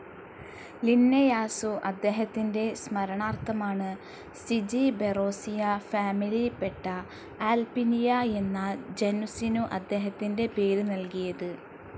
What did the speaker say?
Linnaeus അദ്ദേഹത്തിൻ്റെ സ്മരണാർത്ഥമാണ് Zingiberaceae ഫാമിലിയപെട്ട ആൽപിനിയ എന്ന ജനുസിനു അദ്ദേഹത്തിൻ്റെ പേര് നൽകിയത്.